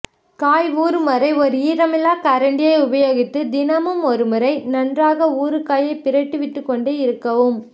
காய் ஊறும் வரை ஒரு ஈரமில்லா கரண்டியை உபயோகித்து தினமும் ஒருமுறை நன்றாக ஊறுகாயை பிரட்டி விட்டுக் கொண்டே இருக்கவும்